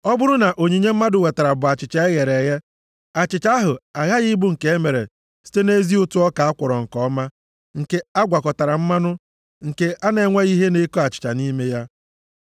Ọ bụrụ na onyinye mmadụ wetara bụ achịcha e ghere eghe, achịcha ahụ aghaghị ịbụ nke e mere site nʼezi ụtụ ọka a kwọrọ nke ọma, nke a gwakọtara mmanụ, nke na-enweghị ihe na-eko achịcha nʼime ya.